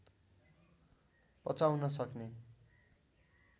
पचाउन सक्ने